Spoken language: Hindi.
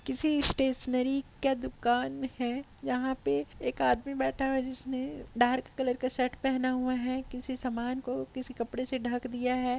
किसी स्टेशनरी है यहाँ पे एक आदमी बैठा हुआ है जिसने डार्क कलर का शर्ट पहना हुआ है किसी समान को किसी कपड़े से ढक दिया है।